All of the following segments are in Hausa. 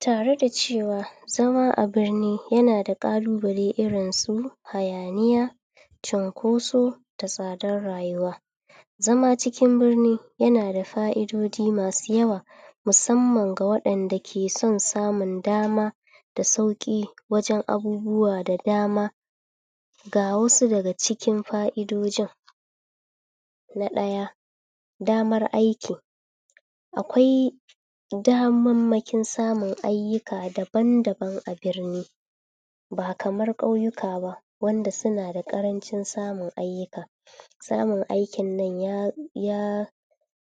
Tare da cewa zaman a birni yana da ƙalubale irin su hayaniya, cunkoso da tsadar rayuwa. Zama cikin birni yana da fa'idoji masu yawa, musamman ga waɗanda ke son samun dama da sauƙi wajen abubuwa da dama Ga wasu daga cikin fa'idojin: Na ɗaya: damar aiki. Akwai damammakin samun ayyuka dabn-daban a birni. Ba kamar ƙauyuka wanda suna da ƙarancin samun ayyuka. Samun aikin na ya, ya,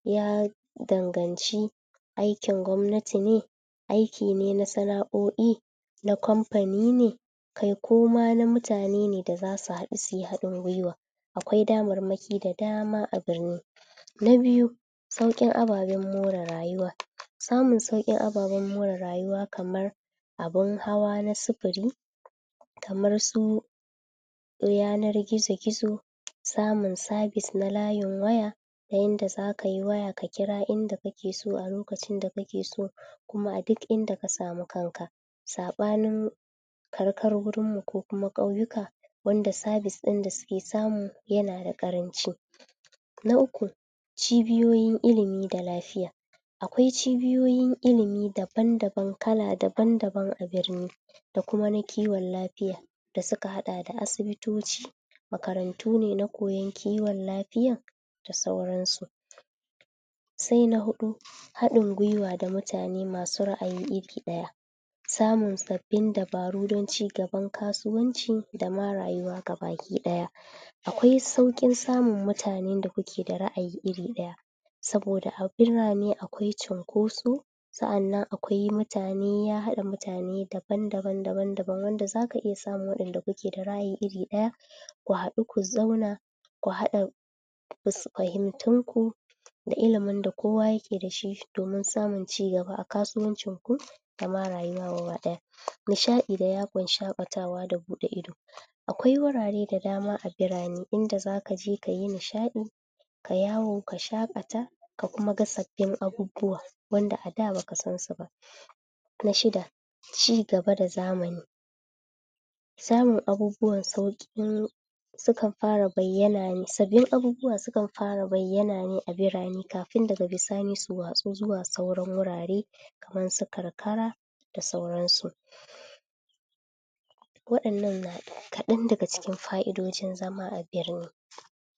ya danganci aikin gwamnati ne, aiki ne na sana'o'i, na kamfani ne kai ko ma na mutane ne da za su haɗu su yi haɗin gwiwa. Akwai damarmaki da dama a birni. Na biyu sauƙin ababen more rayuwa. Samun sauƙin ababen more rayuwa kamar abin hawa na sufuri, kamar su yanar gizo-gizo, samun sabis na layin waya ta yanda za ka yi waya, ka kira inda kake so a lokacin da kake so kuma a duk inda ka samu kanka, saɓanin karkarunmu ko kuma ƙauyuka wanda sabis ɗin da suke samu yana da ƙaranci Na uku, cibiyoyin ilimi da na lafiya. Akwai cibiyoyin ilimi daban-daban, kala daban-daban a birni da kuma na kiwon lafiya da suka haɗa da asibitoci, makarantu ne na koyon kiwon lafiya da sauransu. Sai na huɗu: Haɗin gwiwa da mutane masu ra'ayi iri ɗaya. Samun sabbin dabaru don cigaban kasuwanci da ma rayuwa ga baki ɗaya. Akwai sauƙin samun mutanen da kuka da ra'ayi iri ɗaya saboda a birane akwai cunkoso Sa'annan akwai mutane; ya haɗa mutane daban-daban, daban-daban wanda za ka iya samun wanda kuke da ra'ayi iri ɗaya. Ku haɗu, ku zauna, ku haɗa fahimtunku da ilimin da kowa yake da shi domin samun cigaba a kasuwancinku da ma rayuwa gaba ɗaya. Nishaɗi da yawon shaƙatawa da buɗe ido. Akwai wurare da dama a birane inda za ka je ka yi nishaɗi ka yawo, ka shaƙata ka kuma ga sabbin abubuwa wanda a da ba ka san su ba. Na shida, cigaba da zamani. Samun abubuwan sauƙi suka fara bayyana ne, sabbin abubuwa sukan fara bayyana ne a biranekafin daga bisani su watsu zuwa sauran wurare irin su karkara da sauransu.